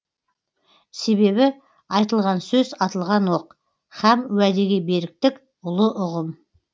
себебі айтылған сөз атылған оқ һәм уәдеге беріктік ұлы ұғым